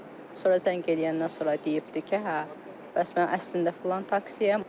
Sonra zəng eləyəndən sonra deyibdir ki, hə, bəs mən əslində filan taksiyəm.